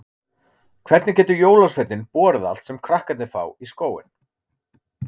Hvernig getur jólasveinninn borið allt sem krakkarnir fá í skóinn?